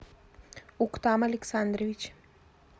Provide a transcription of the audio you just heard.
уктам александрович